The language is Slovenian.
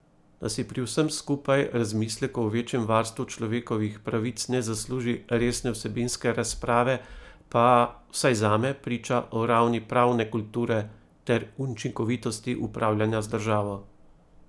Da si pri vsem skupaj razmislek o večjem varstvu človekovih pravic ne zasluži resne vsebinske razprave pa, vsaj zame, priča o ravni pravne kulture ter učinkovitosti upravljanja z državo.